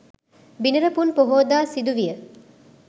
බිනර පුන් පොහෝදා සිදු විය